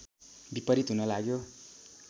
विपरीत हुन लाग्यो